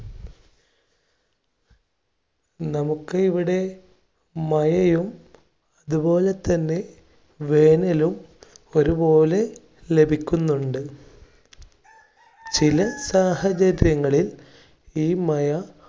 നമുക്ക് ഇവിടെ മയയും, അതുപോലെ തന്നെ വേനലും ഒരുപോലെ ലഭിക്കുന്നുണ്ട്. ചില സാഹചര്യങ്ങളിൽ ഈ മയ